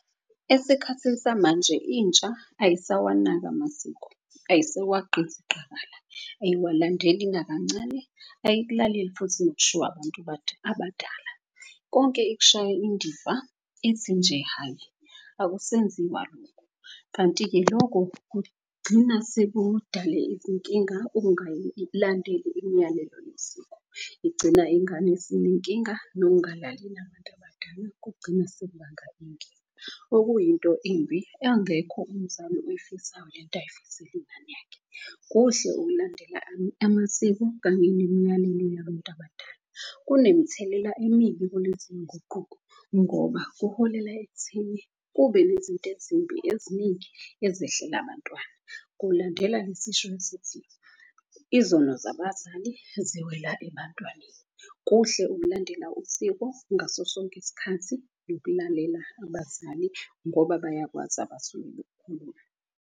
Esikhathini samanje intsha ayisawanaki amasiko, ayisawagqiziqakala, ayiwalandeli nakancane. Ayikukaleli futhi nokushiywa abantu abadala. Konke ikushaya indiva ithi nje hhayi akusenziwa kanti-ke loko kugcina sekudale izinkinga imiyalelo yesiko. Igcina ingane esinenkinga nokungalaleli abantu abadala. Kugcine sekubanga inkinga, okuyinto imbi angekho umzali oyifisayo lento ayifisela ingane yakhe. Kuhle ukulandela amasiko kanye nemiyalelo yabantu abadala kunemithelela emibi kulezi zinguquko. Ngoba kuholela ekutheni kube nezinto ezimbi eziningi ezehlela bantwana kulandela lesisho esithi, izono zabazali ziwela ebantwaneni. Kuhle ukulandela usiko ngaso sonke isikhathi nokulalela abazali ngoba bayakwazi abasuke .